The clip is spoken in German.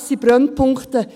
Das sind Brennpunkte.